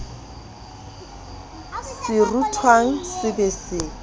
se rutwang se be se